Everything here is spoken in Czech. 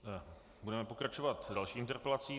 Budeme pokračovat další interpelací.